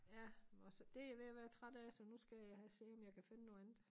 Ja og så det jeg ved at være træt af så nu skal jeg have se om jeg kan finde noget andet